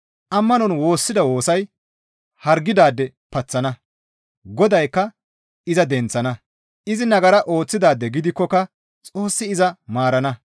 Ammanon woossida woosay hargidaade paththana; Godaykka iza denththana; izi nagara ooththidaade gidikkoka Xoossi iza maarana.